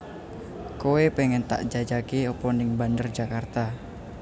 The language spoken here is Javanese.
Koe pengen tak jajake opo ning Bandar Djakarta?